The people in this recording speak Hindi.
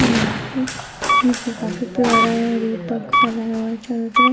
यह मोर है जो कि काफी प्यारा है और ये पंख फैलाया हुआ है चारों तरफ।